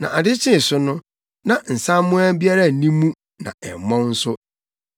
Na ade kyee so no, na nsaammoa biara nni mu na ɛmmɔn nso.